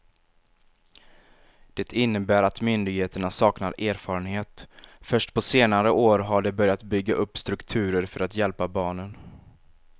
Det innebär att myndigheterna saknar erfarenhet, först på senare år har de börjat bygga upp strukturer för att hjälpa barnen.